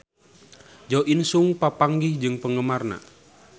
Jo In Sung papanggih jeung penggemarna